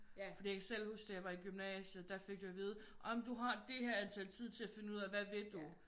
Fordi jeg kan selv huske da jeg var i gymnasiet der fik du at vide jamen du har det her antal tid til at finde ud af hvad vil du